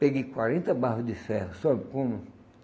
Peguei quarenta barra de ferro, sabe como?